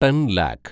ten lakh